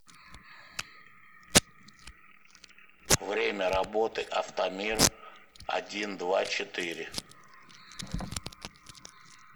время работы автомиродиндвачетыре